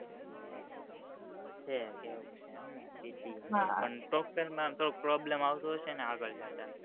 હે એવું છે એમ ને પણ problem આવતો હશે ને આગળ જતા